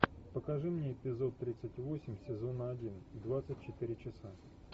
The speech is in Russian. покажи мне эпизод тридцать восемь сезона один двадцать четыре часа